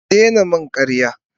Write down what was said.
Ki daina min karya.